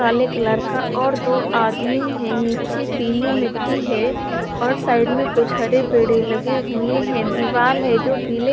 काले कलर का और दो आदमी है निचे पीली मिट्टी है और साइड में कुछ हरे पेडे लगे हुए है दीवाल है जो पीले--